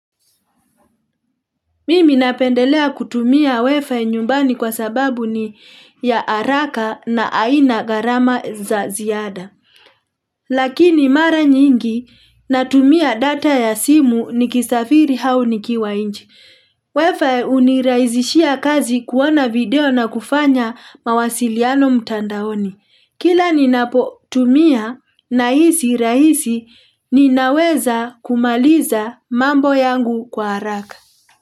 Mimi napendelea kutumia wifi nyumbani kwa sababu ni ya haraka na aina gharama za ziada. Lakini mara nyingi natumia data ya simu nikisafiri au nikiwa nje. Wifi hunirahizishia kazi kuona video na kufanya mawasiliano mtandaoni. Kila ninapotumia nahisi rahisi ninaweza kumaliza mambo yangu kwa haraka.